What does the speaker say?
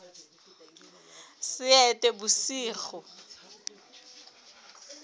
seetebosigo